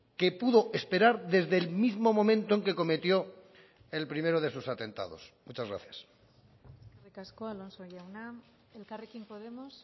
que pudo esperar desde el mismo momento en que cometió el primero de sus atentados muchas gracias eskerrik asko alonso jauna elkarrekin podemos